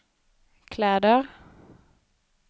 kläder